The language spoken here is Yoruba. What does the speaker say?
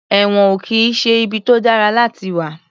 Ẹ̀wọ̀n ò kì í ṣe ibi tó dára láti wà.